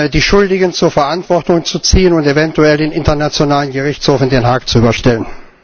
die Schuldigen zur Verantwortung zu ziehen und eventuell dem Internationalen Gerichtshof in Den Haag zu überstellen.